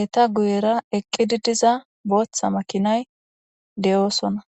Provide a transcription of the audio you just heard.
eeta guyera eqqidi diza booththa makinay de'oosona